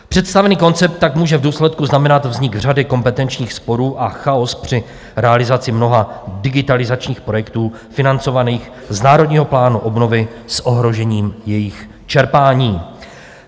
Představený koncept tak může v důsledku znamenat vznik řady kompetenčních sporů a chaos při realizaci mnoha digitalizačních projektů financovaných z Národního plánu obnovy s ohrožením jejich čerpání.